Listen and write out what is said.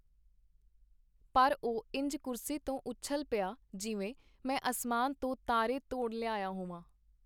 ਪਰ ਉਹ ਇੰਜ ਕੁਰਸੀ ਤੋਂ ਉਛਲ ਪਿਆ, ਜਿਵੇਂ ਮੈਂ ਅਸਮਾਨ ਤੋਂ ਤਾਰੇ ਤੋੜ ਲਿਆਇਆ ਹੋਵਾਂ.